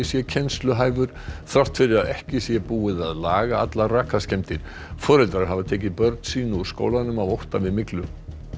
sé þrátt fyrir að ekki sé búið að laga allar rakaskemmdir foreldrar hafa tekið börn sín úr skólanum af ótta við myglu